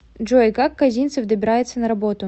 джой как козинцев добирается на работу